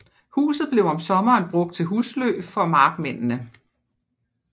Huset blev om sommeren brugt til husly for markmændene